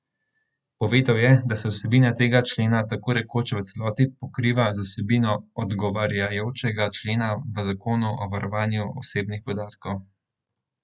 Povedal je, da se vsebina tega člena tako rekoč v celoti pokriva z vsebino odgovarjajočega člena v zakonu o varovanju osebnih podatkov.